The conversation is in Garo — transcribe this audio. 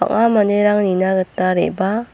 ua manderang nina gita re·baa.